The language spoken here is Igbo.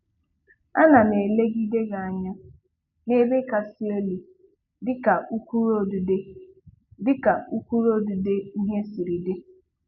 A na m elegide gị anya n'ebe kasị elu dịka ụkpụrụ odide dịka ụkpụrụ odide ihe siri dị.